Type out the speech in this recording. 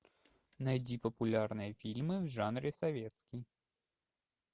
найти популярные фильмы в жанре советский